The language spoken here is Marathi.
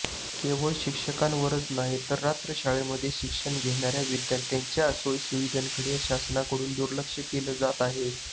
केवळ शिक्षकांवरच ऩाही तर रात्रशाळांमध्ये शिक्षण घेणार्या विद्यार्थ्यांच्या सोयीसुविधांकडे शासनाकडून दुर्लक्ष केले जात आहे